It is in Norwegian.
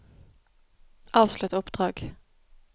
avslutt oppdrag